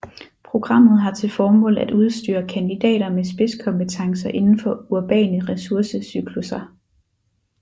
Programmet har til formål at udstyre kandidater med spidskompetencer indenfor urbane ressource cyklusser